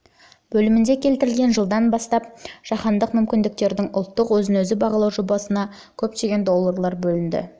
бөлімінде келтірілген жылдан бастап жылға дейінгі кезеңде жаһандық басқару мүмкіндіктерінің ұлттық өзін-өзі бағалау жобасына доллары көлемінде қаржы бөліп отырды